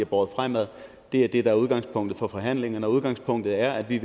båret fremad er det der er udgangspunktet for forhandlingerne udgangspunktet er at vi